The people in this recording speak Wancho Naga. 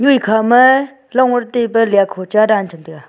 ekhama long ur taba liakho cha dan cham taiga.